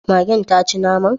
Magen taci naman?